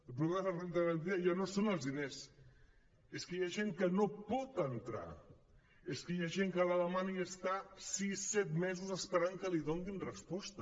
el problema de la renda garantida ja no són els diners és que hi ha gent que no hi pot entrar és que hi ha gent que la demana i està sis set mesos esperant que li donin resposta